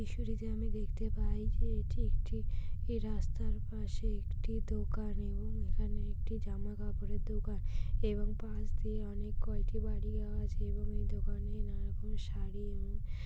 দৃশ্যটিতে আমি দেখতে পাই যে এটি একটি এই রাস্তার পাশে একটি দোকান এবং এখানে একটি জামা কাপড়ের দোকান এবং পাশ দিয়ে অনেক কয়টি বাড়ি যাওয়া আছে এবং এই দোকানে নানা রকম শাড়ি এবং--